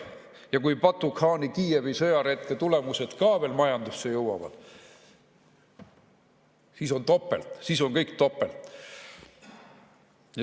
Ja kui Batu-khaani Kiievi-sõjaretke tulemused ka veel majandusse jõuavad, siis on topelt, siis on kõik topelt.